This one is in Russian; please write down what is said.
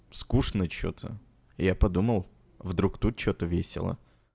скучно что-то я подумал вдруг тут что-то весело